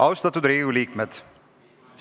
Austatud Riigikogu liikmed!